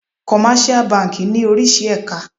Commercial banki ní oríṣi èka.